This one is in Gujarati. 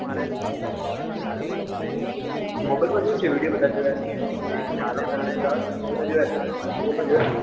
mobile મ જોયું છે video બધા જોયા છે youtube મા ગણા બધા video આયા છે એમાં બધા જોયા છે પણ real મ જોયા નથી.